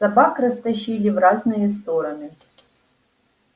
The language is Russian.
собак растащили в разные стороны